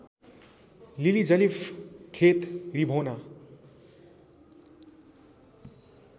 लिलिजलिफ खेत रिभोना